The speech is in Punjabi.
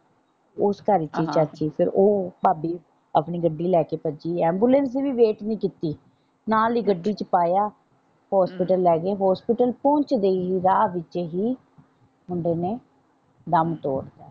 ਉਸ ਘਰ ਚ ਈ ਚਾਚੀ ਤੇ ਉਹ ਭਾਬੀ ਆਪਣੀ ਗੱਡੀ ਲੈ ਕੇ ਭੱਜੀ ਐਮਬੂਲੈਂਸ ਦੀ ਵੀ ਵੇਟ ਨਹੀਂ ਕੀਤੀ ਨਾਲ ਈ ਗੱਡੀ ਚ ਪਾਇਆ ਹੌਸਪੀਟਲ ਲੈ ਗਏ ਹੌਸਪੀਟਲ ਪਹੁੰਚਦੇ ਹੀ ਰਾਹ ਵਿੱਚ ਈ ਮੁੰਡੇ ਨੇ ਦਮ ਤੋੜਤਾ।